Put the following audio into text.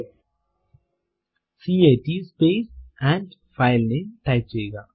cat space and file name type ചെയ്യുക